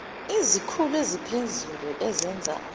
izikhulu eziphezulu ezenza